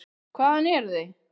Hvaðan eruð þið?